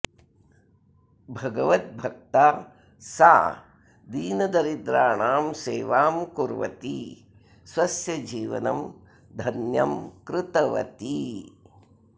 भगवद्भक्ता सा दीनदरिद्राणां सेवां कुर्वती स्वस्य जीवनं धन्यं कृतवती